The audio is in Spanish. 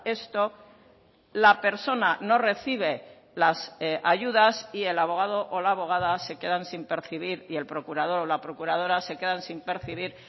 esto la persona no recibe las ayudas y el abogado o la abogada se quedan sin percibir y el procurador o la procuradora se quedan sin percibir